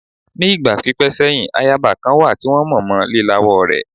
Ní ìgbà pípẹ́ sẹ́yìn, ayaba kan wà tí wọ́n mọ̀ mọ lílawọ́ rẹ̀.